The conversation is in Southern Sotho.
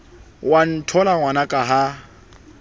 o a ntlhola ngwanaka ha